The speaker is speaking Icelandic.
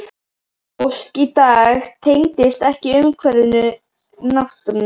Fólk í dag tengist ekkert umhverfinu, náttúrunni.